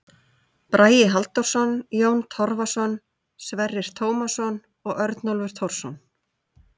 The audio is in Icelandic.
Bragi Halldórsson, Jón Torfason, Sverrir Tómasson og Örnólfur Thorsson.